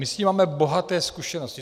My s tím máme bohaté zkušenosti.